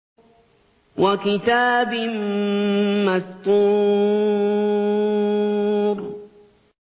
وَكِتَابٍ مَّسْطُورٍ